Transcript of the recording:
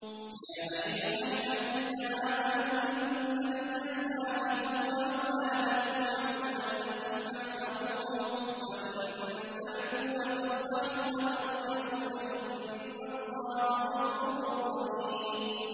يَا أَيُّهَا الَّذِينَ آمَنُوا إِنَّ مِنْ أَزْوَاجِكُمْ وَأَوْلَادِكُمْ عَدُوًّا لَّكُمْ فَاحْذَرُوهُمْ ۚ وَإِن تَعْفُوا وَتَصْفَحُوا وَتَغْفِرُوا فَإِنَّ اللَّهَ غَفُورٌ رَّحِيمٌ